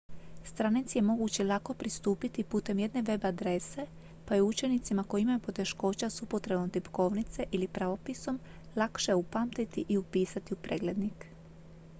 stranici je moguće lako pristupiti putem jedne web adrese pa ju je učenicima koji imaju poteškoća s upotrebom tipkovnice ili pravopisom lakše upamtiti i upisati u preglednik